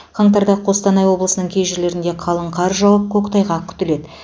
қаңтарда қостанай облысының кей жерлерінде қалың қар жауып көктайғақ күтіледі